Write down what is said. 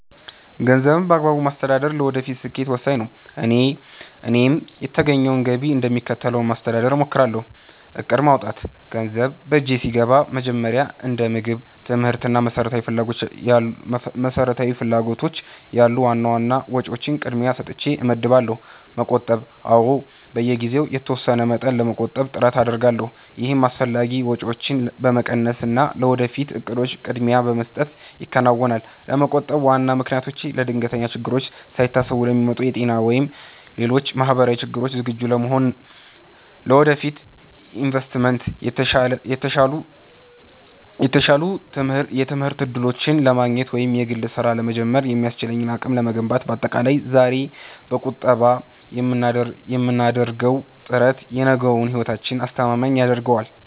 ገንዘብን በአግባቡ ማስተዳደር ለወደፊት ስኬት ወሳኝ ነው፤ እኔም የተገኘውን ገቢ እንደሚከተለው ለማስተዳደር እሞክራለሁ፦ እቅድ ማውጣት፦ ገንዘብ በእጄ ሲገባ መጀመሪያ እንደ ምግብ፣ ትምህርት እና መሰረታዊ ፍላጎቶች ያሉ ዋና ዋና ወጪዎችን ቅድሚያ ሰጥቼ እመድባለሁ። መቆጠብ፦ አዎ፣ በየጊዜው የተወሰነ መጠን ለመቆጠብ ጥረት አደርጋለሁ። ይህም አላስፈላጊ ወጪዎችን በመቀነስና ለወደፊት እቅዶች ቅድሚያ በመስጠት ይከናወናል። ለመቆጠብ ዋና ምክንያቶቼ፦ ለድንገተኛ ችግሮች፦ ሳይታሰቡ ለሚመጡ የጤና ወይም ሌሎች ማህበራዊ ችግሮች ዝግጁ ለመሆን። ለወደፊት ኢንቨስትመንት፦ የተሻሉ የትምህርት እድሎችን ለማግኘት ወይም የግል ስራ ለመጀመር የሚያስችል አቅም ለመገንባት። ባጠቃላይ፣ ዛሬ በቁጠባ የምናደርገው ጥረት የነገውን ህይወታችንን አስተማማኝ ያደርገዋል።